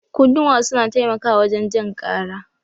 Kunnuwa suna taimakawa wajen jin kara.